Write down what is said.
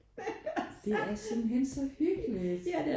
Det er simpelthen så hyggeligt